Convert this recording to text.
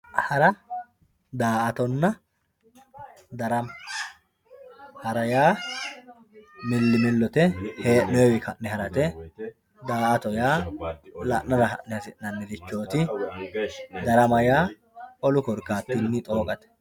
hara daa''atonna darama hara yaa millimillote hee'noonni ka'ne harate daa''atto yaa la'nara marre hasi'nanirichooti darama yaa olu korkaatinni xooqate.